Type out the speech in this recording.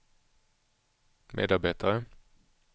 medarbetare